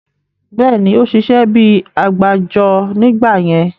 Bẹ́ẹ̀ni, ó ṣiṣẹ́ bíi àgbájọ nígbà yẹn